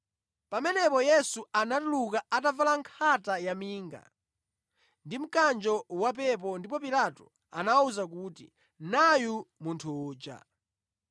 Pamenepo Yesu anatuluka atavala nkhata yaminga ndi mkanjo wapepo ndipo Pilato anawawuza kuti, “Nayu munthu uja!”